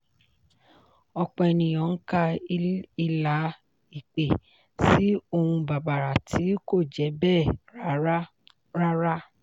ọ̀pọ̀ ènìyàn ń ka ìlà ìpè sí ohun bàbàrà tí kò jẹ́ bẹ́ẹ̀ rárá. rárá.